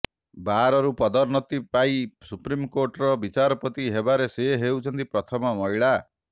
ବାର୍ରୁ ପଦୋନ୍ନତି ପାଇ ସୁପ୍ରିମ୍ କୋର୍ଟର ବିଚାରପତି ହେବାରେ ସେ ହେଉଛନ୍ତି ପ୍ରଥମ ମହିଳା